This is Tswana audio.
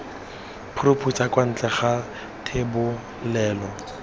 phuruphutsa kwa ntle ga thebolelo